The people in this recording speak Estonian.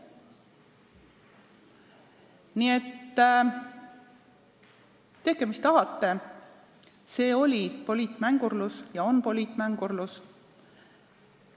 Nii et tehke, mis tahate, see oli poliitmängurlus ja on poliitmängurlus.